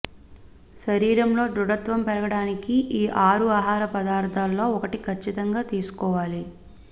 శరీరంలో దృఢత్వం పెరగడానికి ఈ ఆరు ఆహార పదార్థాల్లో ఒకటి కచ్చితంగా తీసుకోవాలి